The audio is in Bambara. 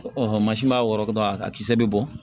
mansin m'a wɔrɔtɔ dɔrɔn a kisɛ bɛ bɔn